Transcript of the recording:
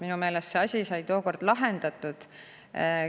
Minu meelest sai see asi tookord lahendatud.